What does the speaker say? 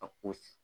A ko